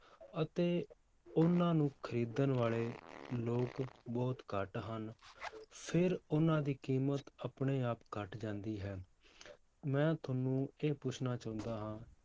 ਅਤੇ ਉਹਨਾਂ ਨੂੰ ਖ਼ਰੀਦਣ ਵਾਲੇ ਲੋਕ ਬਹੁਤ ਘੱਟ ਹਨ, ਫਿਰ ਉਹਨਾਂ ਦੀ ਕੀਮਤ ਆਪਣੇ ਆਪ ਘੱਟ ਜਾਂਦੀ ਹੈ ਮੈਂ ਤੁਹਾਨੂੰ ਇਹ ਪੁੱਛਣਾ ਚਾਹੁੰਦਾ ਹਾਂ